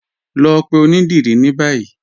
Lọ pẹ̀ ọ̀nidírí ni báyì.